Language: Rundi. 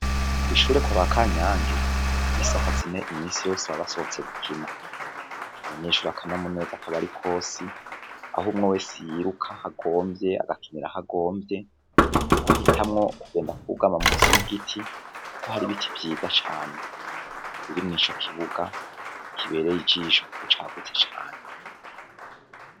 Kw’ishure kwaba Kanyange, isaha zine iminsi yose baba basohotse gukina, abanyeshure akanyamuneza kaba ari kose aho umwe wese yiruka aho agomvye agakinira aho agomvye, umwe ahitamwo kugenda kugama munsi y'igiti Kuko hari ibiti vyiza cane biri muri ico kibuga kibereye ijisho Kuko cakuze cane.